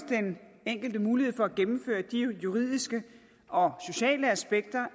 den enkelte mulighed for at gennemføre de juridiske og sociale aspekter